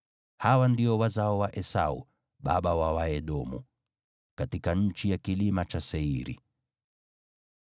Hawa ndio wazao wa Esau, baba wa Waedomu, katika nchi ya kilima cha Seiri.